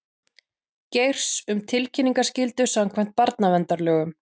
Geirs um tilkynningaskyldu samkvæmt barnaverndarlögum